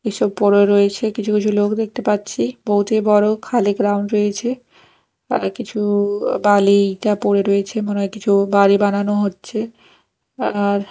এসব পড়ে রয়েছে কিছু কিছু লোক দেখতে পাচ্ছি বহুতই বড় খালি গ্রাউন্ড রয়েছে কিছু বালিটা পড়ে রয়েছে মনে হয় কিছু বাড়ি বানানো হচ্ছে আর--